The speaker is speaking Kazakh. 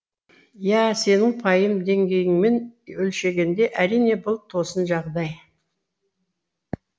иә сенің пайым деңгейіңмен өлшегенде әрине бұл тосын жағдай